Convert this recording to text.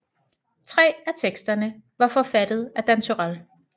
Tre af teksterne var forfattet af Dan Turèll